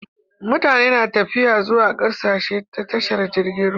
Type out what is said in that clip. Mutane na tafiya zuwa ƙasashe ta tashar jirgin ruwa